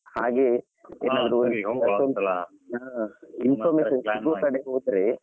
ಹಾಗೆ . Information ಸಿಗುವ ಕಡೆ ಹೋದ್ರೆ.